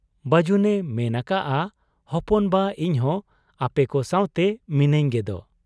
ᱵᱟᱹᱡᱩᱱ ᱮ ᱢᱮᱱ ᱟᱠᱟᱜ ᱟ, 'ᱦᱚᱯᱚᱱ ᱵᱟ ! ᱤᱧᱦᱚᱸ ᱟᱯᱮᱠᱚ ᱥᱟᱶᱛᱮ ᱢᱤᱱᱟᱹᱧ ᱜᱮᱫᱚ ᱾